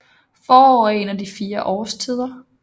Forår er en af de fire årstider